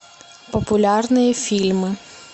популярные фильмы